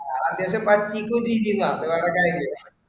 ആദ്യം ഒക്കെ